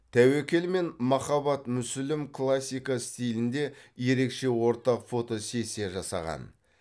тәуекел мен махаббат мүсілім классика стилінде ерекше ортақ фотосессия жасаған